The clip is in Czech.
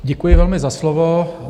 Děkuji velmi za slovo.